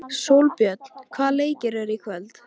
Sólbjörn, hvaða leikir eru í kvöld?